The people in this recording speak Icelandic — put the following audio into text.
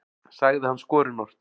sagði hann skorinort.